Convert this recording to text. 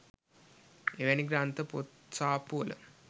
එවැනි ග්‍රන්ථ පොත් සාප්පුවල